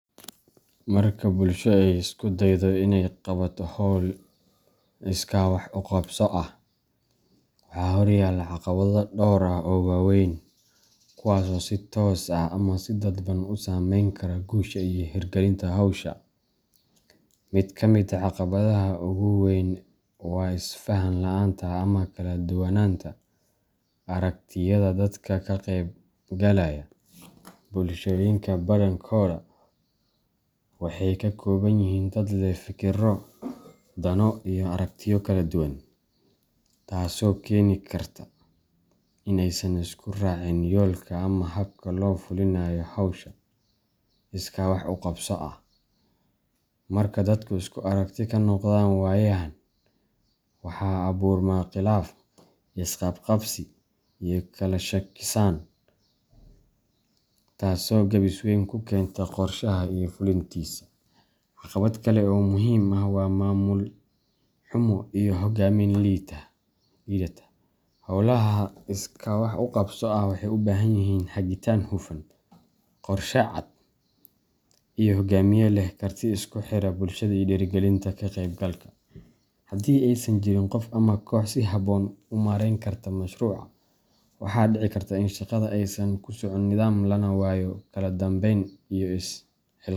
Marka bulsho ay isku daydo inay qabato hawl iskaa wax u qabso ah, waxaa horyaalla caqabado dhowr ah oo waaweyn kuwaas oo si toos ah ama si dadban u saameyn kara guusha iyo hirgalinta hawsha. Mid ka mid ah caqabadaha ugu weyn waa isfahan la’aanta ama kala duwanaanta aragtiyada dadka ka qaybgalaya. Bulshooyinka badankooda waxay ka kooban yihiin dad leh fikirro, dano, iyo aragtiyo kala duwan, taasoo keeni karta in aysan isku raacin yoolka ama habka loo fulinayo hawsha iskaa wax u qabso ah. Marka dadku isku aragti ka noqon waayaan, waxaa abuurma khilaaf, isqabqabsi, iyo kala shakisan, taasoo gaabis weyn ku keenta qorshaha iyo fulintiisa. Caqabad kale oo muhiim ah waa maamul xumo iyo hogaamin liidata. Hawlaha iskaa wax u qabso ah waxay u baahan yihiin hagitaan hufan, qorshe cad, iyo hogaamiye leh karti isku xiridda bulshada iyo dhiirrigelinta ka qaybgalka. Haddii aysan jirin qof ama koox si habboon u maareyn karta mashruuca, waxaa dhici karta in shaqada aysan ku socon nidaam, lana waayo kala dambeyn iyo is xil.